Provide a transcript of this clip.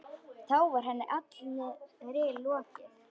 Þá var henni allri lokið.